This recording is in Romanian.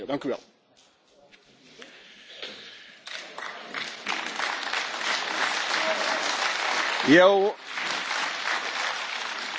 Eu sunt convins că această declarație a fost notată de autoritățile europene și sunt convins, de asemenea, că va primi răspunsul pe care îl